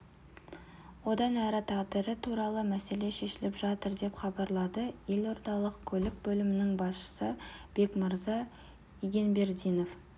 одан әрі тағдыры туралы мәселе шешіліп жатыр деп хабарлады елордалық көлік бөлімінің басшысы бекмырза игенбердинов